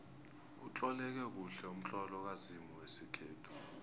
utloleke kuhle umtlolo kazimu wesikhethu